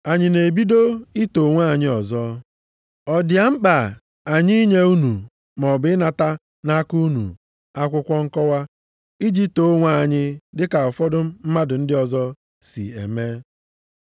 Anyị na-ebido ito onwe anyị ọzọ? Ọ dị a mkpa anyị inye unu, maọbụ ịnata nʼaka unu akwụkwọ nkọwa iji too onwe anyị dịka ụfọdụ mmadụ ndị ọzọ si eme?